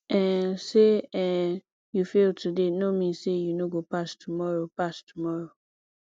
um sey um you fail today no mean sey you no go pass tomorrow pass tomorrow